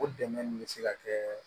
O dɛmɛ nin bɛ se ka kɛ